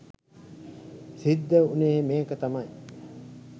සිද්ධ උනේ මේක තමයි.